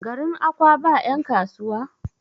garin Akwa ba yankasuwa?